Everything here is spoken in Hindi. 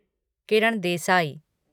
किरण देसाई